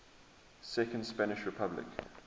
second spanish republic